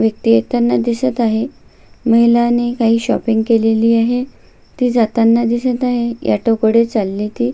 व्यक्ति येताना दिसत आहे महिलानी काही शॉपिंग केलेली आहे ती जाताना दिसत आहे ऑटो कडे चालली ती.